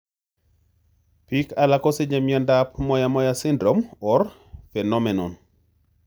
Pik alak kosiche miondap moyamoya syndrome or phenomenon.